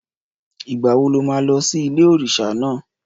Ìgbà wo lo má lọ sí ilé-òrísà náà?